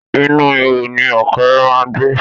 Inú ihò ni ọ̀kẹ́ré má ń gbé.